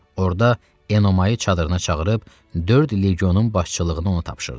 Orda Enomayı çadırına çağırıb dörd legionun başçılığını ona tapşırdı.